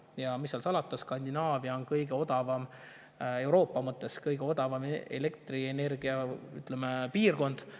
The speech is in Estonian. Ja mis seal salata, Skandinaavia on Euroopas kõige odavama elektrienergiaga piirkond.